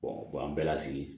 bɔn an bɛɛ la sigi